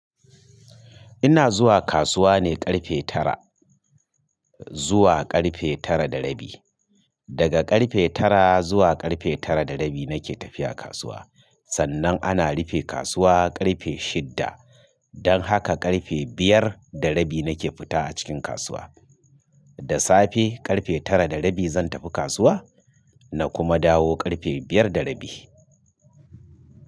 Ina zuwa kasuwa ne ƙarfe tara zuwa ƙarfe tara da rabi. Daga ƙarfe tara zuwa ƙarfe tara da rabi nake tafiya kasuwa. Sannan ana rufe kasuwa ƙarfe shidda. Don haka ƙarfe biyar da rabi nake fita a cikin kasuwa. Da safe ƙarfe tara da rabi zan tafi kasuwa na kuma dawo ƙarfe biyar da rabi.